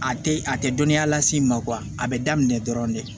A tɛ a tɛ dɔnniya las'i ma a bɛ daminɛ dɔrɔn de